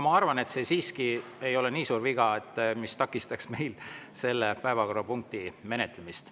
Ma arvan, et see siiski ei ole nii suur viga, mis takistaks meil selle päevakorrapunkti menetlemist.